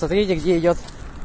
смотреть где идёт